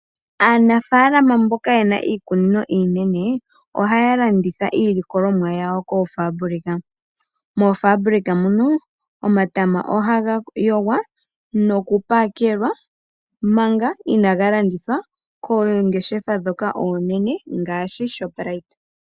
Aanafalama mboka yena iikunino iinene ohaya landitha iilikolomwa yawo koofabulika. Moofabulika muno omatama ohaga yogwa noku pakelwa manga inaga landithwa koongeshefa ndhoka oonene ngaashi shoprite.